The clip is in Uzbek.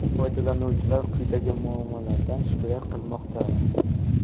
Foydalanuvchilar quyidagi muammolardan shikoyat qilmoqda.